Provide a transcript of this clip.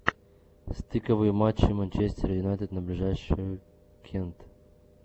стыковые матчи манчестера юнайтед на ближайшую кент